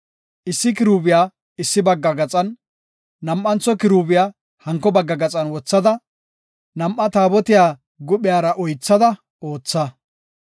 Issi kiruubiya issi bagga gaxan, nam7antho kiruubiya hanko bagga gaxan wothada nam7aa Taabotiya guphiyara oythada ootha.